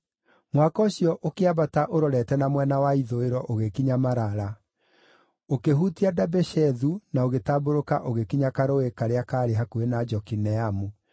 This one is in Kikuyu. Mũhaka ũcio ũkĩambata ũrorete na mwena wa ithũĩro ũgĩkinya Marala, ũkĩhutia Dabeshethu na ũgĩtambũrũka ũgĩkinya karũũĩ karĩa kaarĩ hakuhĩ na Jokineamu.